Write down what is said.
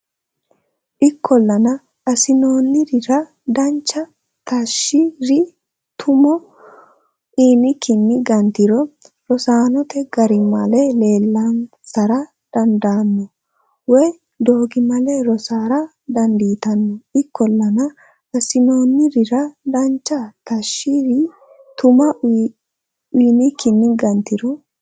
Ikkollana assinoonnirira dancha taashshi ri tumo uynikkinni gantiro rosaanote garimale leellansara dandaanno woy doogimale rossara dandiitanno Ikkollana assinoonnirira dancha taashshi ri tumo uynikkinni gantiro.